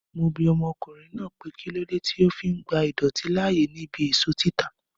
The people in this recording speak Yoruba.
Mo bi ọmọkùnrin náà pé kílódé tí ó fi ń gba idọ̀tí láàyè ní ibí èso títa